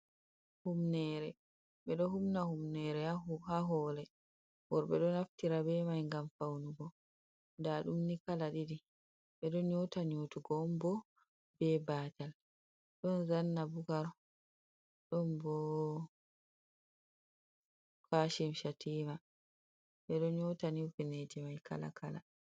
Humnere, bedo humna humnere ha hore bo worbe do naftira be mai gam faunugo da dum ni kala didi be don nyota nyotogo on bo be batal don zanna bugar don bo kashim shatima bedo nyota ni humneji i mai kala kala.